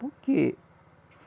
Por quê?